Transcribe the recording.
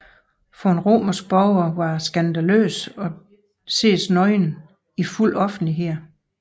For en romersk borger var det skandaløst at ses nøgen i fuld offentlighed